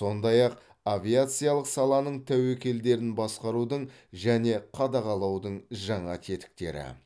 сондай ақ авиациялық саланың тәуекелдерін басқарудың және қадағалаудың жаңа тетіктері